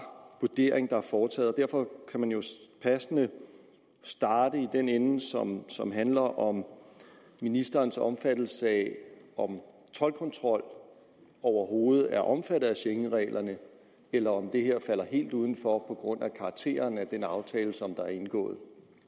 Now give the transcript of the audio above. vurdering der er foretaget derfor kan man jo passende starte i den ende som som handler om ministerens opfattelse af om toldkontrol overhovedet er omfattet af schengenreglerne eller om det her falder helt uden for på grund af karakteren af den aftale der er indgået